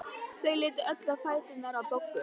Þau litu öll á fæturna á Boggu.